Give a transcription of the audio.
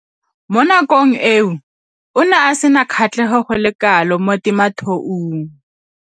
Mo nakong eo o ne a sena kgatlhego go le kalo mo temothuong.